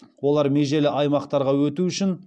олар межелі аймақтарға өту үшін